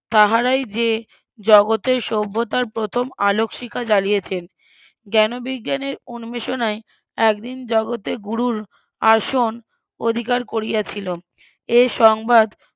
তাহারাই যে জগতের সভ্যতার প্রথম আলোক শিখা জ্বালিয়েছেন জ্ঞ্যান বিজ্ঞ্যানের উন্মেষনায় একদিন জগতে গুরুর আসন অধিকার করিয়াছিল এ সংবাদ